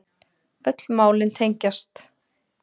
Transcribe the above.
Öll málin tengjast